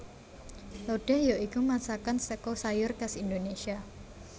Lodéh ya iku masakan saka sayur khas Indonésia